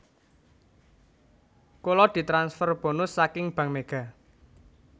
Kula ditransfer bonus saking Bank Mega